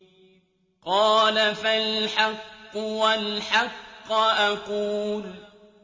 قَالَ فَالْحَقُّ وَالْحَقَّ أَقُولُ